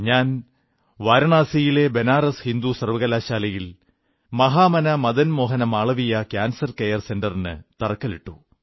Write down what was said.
ഞാൻ വാരണാസിയിലെ ബനാറസ് ഹിന്ദു സർവ്വകലാശാലയിൽ മഹാമനാ മദൻ മോഹന മാളവീയ കാൻസർ കെയർ സെന്ററിന് തറക്കല്ലിട്ടു